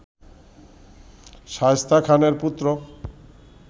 শায়েস্তা খানের পুত্র